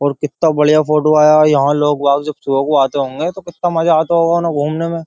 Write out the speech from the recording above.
और कित्ता बड़िया फोटो आया है। यहा लोग बाग जब सुभे को आते होंगे तो कित्ता मजा आता होगा ना घूमने में।